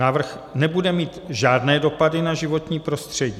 Návrh nebude mít žádné dopady na životní prostředí.